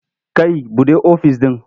Kai buɗe ofis ɗin.